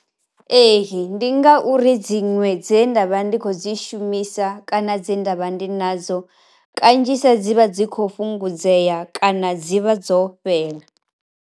Ee ndi ngauri dziṅwe dze nda vha ndi khou dzi shumisa kana dze ndavha ndi nadzo, kanzhisa dzivha dzi kho fhungudzea kana dzivha dzo fhela.